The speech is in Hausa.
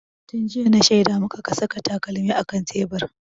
Tun jiya na shaida maka ka saka takalmin a kan tebur!